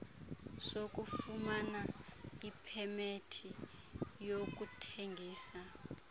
sokufumana ipemethi yokuthengisa